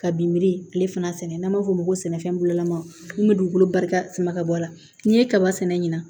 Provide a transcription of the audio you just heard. Ka bin miiri ale fana sɛnɛ n'an b'a fɔ o ma ko sɛnɛfɛnbɛlama mun bɛ dugukolo barika sama ka bɔ a la n'i ye kaba sɛnɛ ɲina